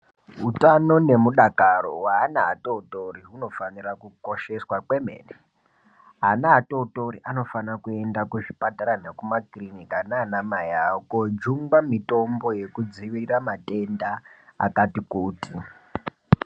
Utano nemudakaro weana atotori hunofanira kukosheswa kwemene. Ana atotori anofanira kuenda kuzvipatara nekumakiriniki nana mai awo kojungwa mitombo yekudzivirira matenda akati kuti.